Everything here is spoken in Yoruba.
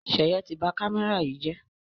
Seye tí bá kámẹ́rà yí jé